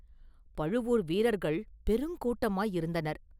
பழுவூர் வீரர்கள் பெருங்கூட்டமாயிருந்தனர்.